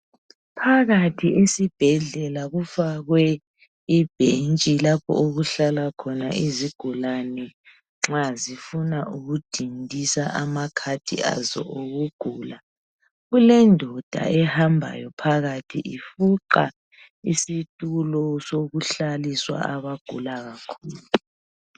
Phakathi esibhedlela kufakwe ibhentshi lapho okuhlala khona izigulane nxa zifuna ukudindisa amakhadi azo okugula. Kulendoda ehambayo phakathi, ifuqa isitulo sokuhlaliswa abagula kakhulu